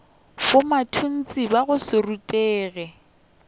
bomatontshe ba go se rutege